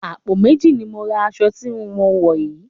Àpò méjì ni mo ra aṣọ tí ò ń wò yìí